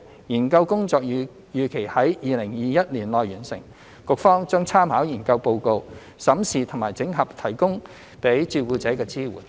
研究工作預期於2021年內完成，局方將參考研究報告，審視及整合提供予照顧者的支援。